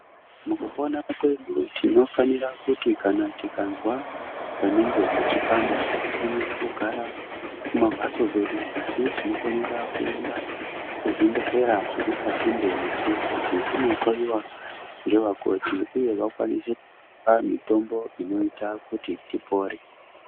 Mukupona kwedu tinofanira kuti tikanzwa panenge peichipanda hatifaniri kugara kumamhatso kwedu asi tinofanira kuenda kuzvibhedhlera zviri pasinde nesu kuti tinohloyiwa ngevakoti uye vakwanise kitipa mitombo inoita kuti tipore.